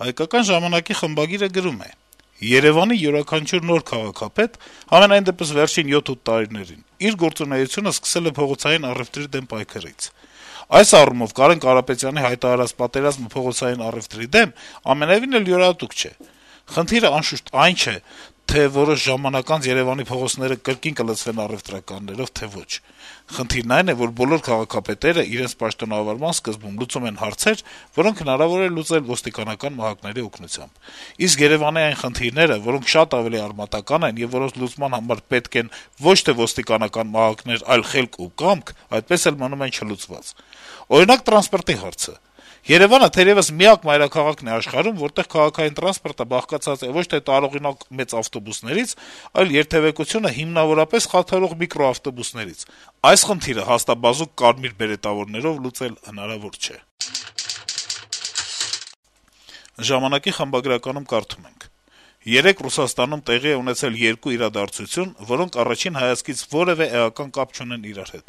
«Հայկական ժամանակ»-ը խմբագրականում գրում է. - «Երեւանի յուրաքանչյուր նոր քաղաքապետ, համենայն դեպս` վերջին 7-8 տարիներին, իր գործունեությունը սկսել է փողոցային առեւտրի դեմ պայքարից: Այս առումով Կարեն Կարապետյանի հայտարարած պատերազմը փողոցային առեւտրի դեմ ամենեւին էլ յուրահատուկ չէ: Խնդիրը, անշուշտ, այն չէ, թե որոշ ժամանակ անց Երեւանի փողոցները կրկին կլցվեն առեւտրականներով, թե ոչ: Խնդիրն այն է, որ բոլոր քաղաքապետերը իրենց պաշտոնավարման սկզբում լուծում են հարցեր, որոնք հնարավոր է լուծել ոստիկանական մահակների օգնությամբ: Իսկ Երեւանի այն խնդիրները, որոնք շատ արմատական են եւ որոնց լուծման համար պետք են ոչ թե ոստիկանական մահակներ, այլ խելք ու կամք, այդպես էլ մնում են չլուծված: Օրինակ, տրանսպորտի հարցը: Երեւանը թերեւս միակ մայրաքաղաքն է աշխարհում, որտեղ քաղաքային տրանսպորտը բաղկացած է ոչ թե տարողունակ մեծ ավտոբուսներից, այլ երթեւեկությունը հիմնավորապես խաթարող միկրոավտոբուսներից: Այս խնդիրը հաստաբազուկ կարմիրբերետավորներով լուծել հնարավոր չէ»: «Ժամանակ»-ը գրում է. - «Երեկ Ռուսաստանում տեղի է ունեցել երկու իրադարձություն, որոնք առաջին հայացքից որեւէ էական կապ չունեն իրար հետ: